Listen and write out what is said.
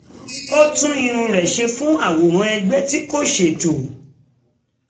O tun irun re se fun aworan egbe ti ko seto